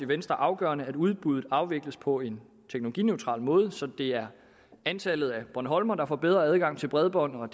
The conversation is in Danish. venstre afgørende at udbuddet afvikles på en teknologineutral måde så det er antallet af bornholmere der får bedre adgang til bredbånd og